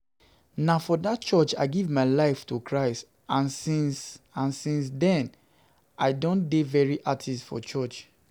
Na for dat church I give my life to Christ and since dem I dey I dey very active for church